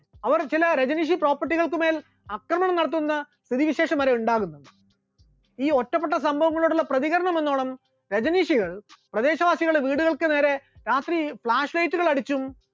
അവർ ചില രജനീഷി property കൾക്ക് മേൽ ആക്രമണം നടത്തുമെന്ന് സ്ഥിതിവിശേഷം വരെ ഉണ്ടാകുന്നുണ്ട്, ഈ ഒറ്റപ്പെട്ട സംഭവങ്ങളോടുള്ള പ്രതികരണം എന്നോണം രജനീഷികൾ പ്രദേശവാസികളുടെ വീടുകൾക്ക് നേരെ രാത്രി flash light കൾ അടിച്ചും